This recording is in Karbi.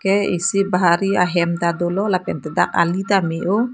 ke isi bahari ahem ta dolo lapen ke dak ali ta me oh.